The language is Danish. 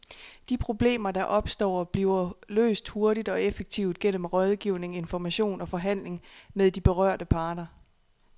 De problemer, der opstår, bliver løst hurtigt og effektivt gennem rådgivning, information og forhandling med de berørte parter.